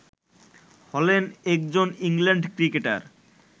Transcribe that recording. হলেন একজন England cricketer